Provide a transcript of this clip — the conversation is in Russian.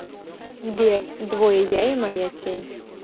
сбер двое я и моя тень